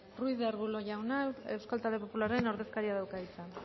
ruiz de arbulo jauna euskal talde popularraren ordezkariak dauka hitza